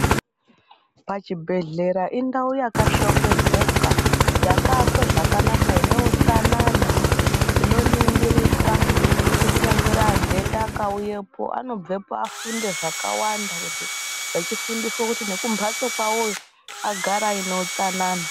Pa chibhedhlera indau yaka shongedzeka yaka akwe zvakanaka ine utsanana ino ningirika kuti kunyangwe adhenda aka uyepo anobvepo afunde zvakawanda echi fundiswe kuti kumbatso kwavoyo kugare kuine utsanana.